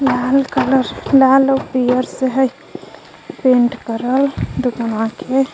लाल कलर लाल अउर पियर से हय पेंट करल दुकनवा के.